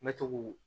N bɛ to k'u